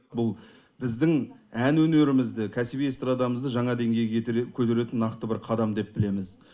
бұл біздің ән өнерімізді кәсіби эстрадамызды жаңа деңгейге көтеретін нақты бір қадам деп білеміз